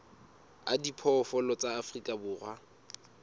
a diphoofolo tsa afrika borwa